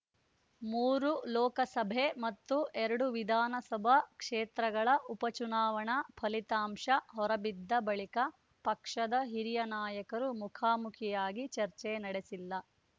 ಮೂರು ಲೋಕಸಭೆ ಮತ್ತು ಎರಡು ವಿಧಾನಸಭಾ ಕ್ಷೇತ್ರಗಳ ಉಪಚುನಾವಣಾ ಫಲಿತಾಂಶ ಹೊರಬಿದ್ದ ಬಳಿಕ ಪಕ್ಷದ ಹಿರಿಯ ನಾಯಕರು ಮುಖಾಮುಖಿಯಾಗಿ ಚರ್ಚೆ ನಡೆಸಿಲ್ಲ